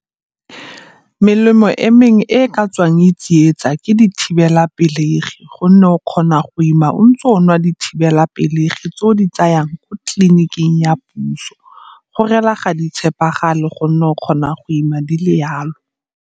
Melemo e mengwe e e ka tswang tsietsa ke dithibelapelegi gonne o kgona go ima o ntse o nwa dithibelapelegi tse o di tsayang ko tleliniking ya puso. Go reela ga di tshepagale gonne o kgona go ima di le yalo.